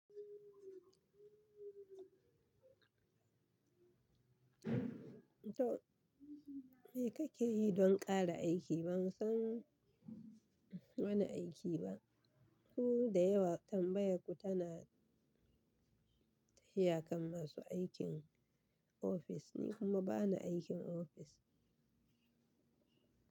To, me kake yi don ƙara aiki? Ban san wani aiki ba. Ku dayawa tambayarku tana Tafiya kan masu aikin ofis nikuma bani aikin ofis.